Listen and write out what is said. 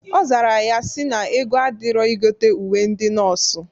Ọ zara ya sị na ego adịrọ igote uwe ndị nọọsụ.